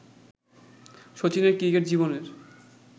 শচীনের cricket জীবনের